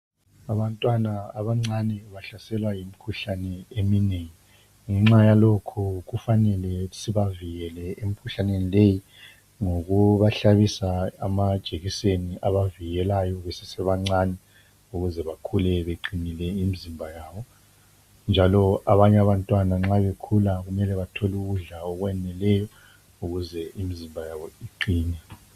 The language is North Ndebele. Abantwana abancane bahlaselwa yimikhuhlane eminengi ngenxa yalokhu kufanele sibavikele emkhuhlaneni leyi ngokubahlabisa amajekiseni abavikelayo besesebancane ukuze bakhule beqinile imizimba yabo njalo abanye abantwana nxa bekhula kumele bathole ukudla okwaneleyo ukuze imizimba yabo iqine.